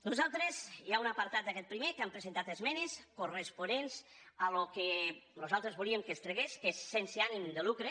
nosaltres hi ha un apartat d’aquest primer que hi hem presentat esmenes corresponents al que nosaltres volíem que es tragués que és sense ànim de lucre